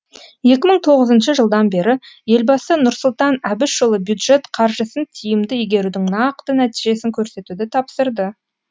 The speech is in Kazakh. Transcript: екі мың тоғызыншы жылдан бері елбасы нұрсұлтан әбішұлы бюджет қаржысын тиімді игерудің нақты нәтижесін көрсетуді тапсырды